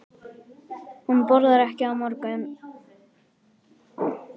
Hún borðar ekki á morgnana.